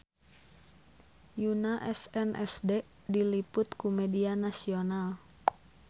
Yoona SNSD diliput ku media nasional